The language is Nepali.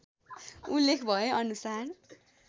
उल्लेख भए अनुसार